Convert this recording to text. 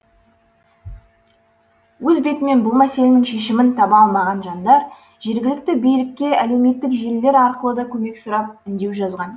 өз бетімен бұл мәселенің шешімін таба алмаған жандар жергілікті билікке әлеуметтік желілер арқылы да көмек сұрап үндеу жазған